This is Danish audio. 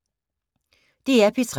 DR P3